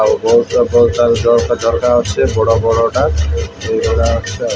ଆଉ ବହୁତୁଆ ଫଉ ତାଲ ଜରକା ଝଟକା ଆଚି ବଡ଼ ବଡ଼ ଟା ଏଇଗୁଡ଼ା ଅଛି ଆଉ।